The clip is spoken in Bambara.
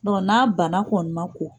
Donku n'a banan kɔni ma ko!